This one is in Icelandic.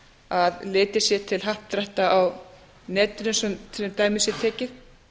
að litið sé til happdrætta á netinu svo dæmi sé tekið